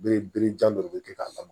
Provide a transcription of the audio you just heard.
Bere berejan dɔ de be kɛ k'a lamaga